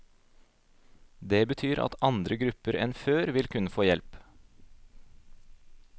Det betyr at andre grupper enn før vil kunne få hjelp.